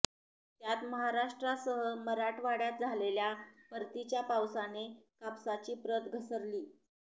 त्यात महाराष्ट्रासह मराठवाड्यात झालेल्या परतीच्या पावसाने कापसाची प्रत घसरली